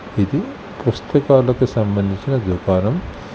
ఇది పుస్తకాలకు సంబంధించిన దుకాణం.